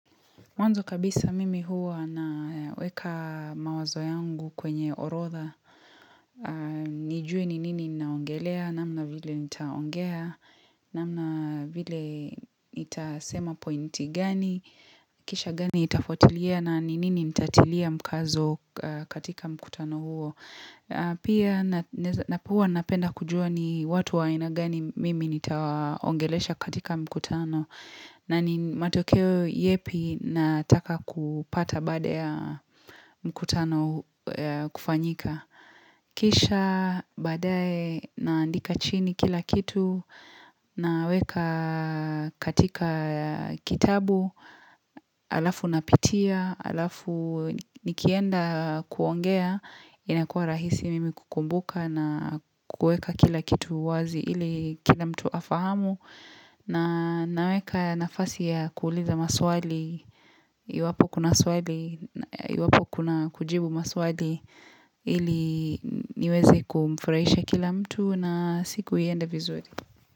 Mwanzo kabisa mimi huwa naweka mawazo yangu kwenye orodha. Nijue ni nini naongelea, namna vile nitaongea, namna vile nitasema pointi gani, kisha gani itafuatilia na ni nini nitatilia mkazo katika mkutano huo. Pia huwa napenda kujua ni watu wa aina gani mimi nitaongelesha katika mkutano. Na ni matokeo yepi nataka kupata baada ya mkutano kufanyika. Kisha baadae naandika chini kila kitu naweka katika kitabu alafu napitia alafu nikienda kuongea inakua rahisi mimi kukumbuka na kueka kila kitu wazi ili kila mtu afahamu. Na naweka nafasi ya kuuliza maswali iwapo kuna Iwapo kuna kujibu maswali ili niweze kumfurahisha kila mtu na siku iende vizuri.